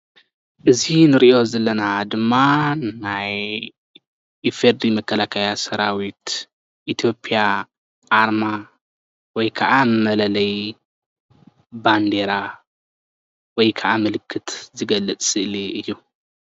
እዚ እንሪኦ ዘለና ድማ ናይ ኢፌድሪ መከላከያ ሰራዊት ኢትዮጵያ ኣርማ ወይ ከዓ መለለይ ባንደራ ወይ ከዓ ምልክት ዝገልፅ ስእሊ እዩ፡፡